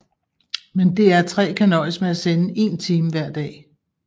Men DR3 kan nøjes med at sende én time hver dag